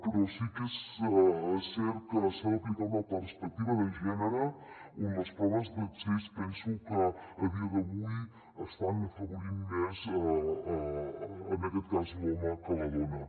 però sí que és cert que s’ha d’aplicar una perspectiva de gènere perquè les proves d’accés penso que a dia d’avui estan afavorint més en aquest cas l’home que la dona